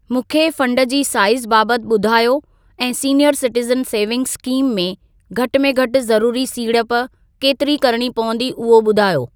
मूंखे फंड जी साइज़ बाबति ॿुधायो ऐं सीनीयर सिटिजन सेविंग्स स्कीम में घटि में घटि ज़रूरी सीड़प केतिरी करणी पवंदी उहो ॿुधायो।